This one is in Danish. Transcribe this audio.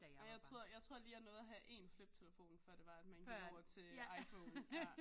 Nej jeg tror jeg tror lige jeg nåede at have en fliptelefon før det var at man gik over til iPhone